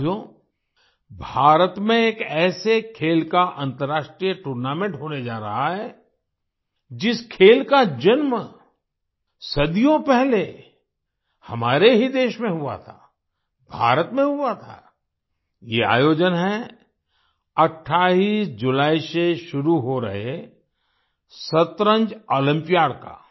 साथियो भारत में एक ऐसे खेल का अन्तर्राष्ट्रीय टूर्नामेंट होने जा रहा है जिस खेल का जन्म सदियों पहले हमारे ही देश में हुआ था भारत में हुआ था आई ये आयोजन है 28 जुलाई से शुरू हो रहे शतरंज ओलंपियाड का